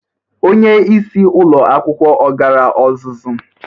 Onyeisi ụlọ akwụkwọ ọ gara ọzụzụ?